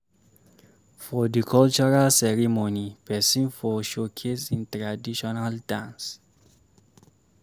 For di cultural ceremony, person for showcase im traditional dance